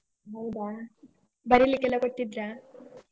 ಹೌದಾ, ಬರಿಲಿಕ್ಕೆಲ್ಲ ಕೊಟ್ಟಿದ್ರಾ?